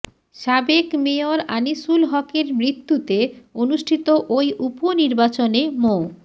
সাবেক মেয়র আনিসুল হকের মৃত্যুতে অনুষ্ঠিত ঐ উপনির্বাচনে মো